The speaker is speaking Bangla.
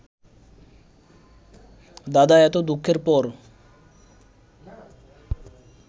দাদা, এত দুঃখের পর